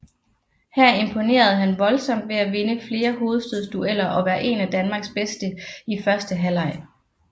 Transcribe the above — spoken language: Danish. Her imponerede han voldsomt ved at vinde flere hovedstødsdueller og være en af Danmarks bedste i første halveg